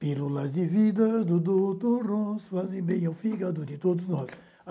Pílulas de vida do doutor Ross, fazem bem ao fígado de todos nós.